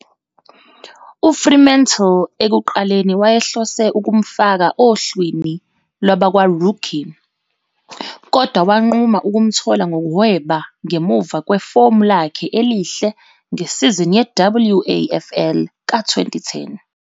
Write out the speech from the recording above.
UFremantle ekuqaleni wayehlose ukumfaka ohlwini lwabakwa-rookie, kodwa wanquma ukumthola ngokuhweba ngemuva kwefomu lakhe elihle ngesizini ye-WAFL ka-2010.